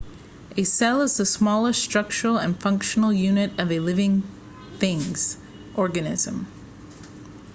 a cell is the smallest structural and functional unit of a living things organism